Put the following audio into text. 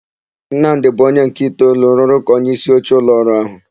Nnamdị bụ onye nke itoolu rụrụ ka onyeisioche ụlọọrụ áhụ̀.